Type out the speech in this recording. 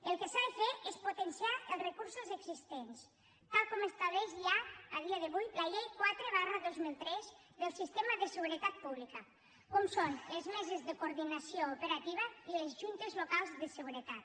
el que s’ha de fer és potenciar els recursos existents tal com estableix ja a dia d’avui la llei quatre dos mil tres del sistema de seguretat pública com són les meses de coordinació operativa i les juntes locals de seguretat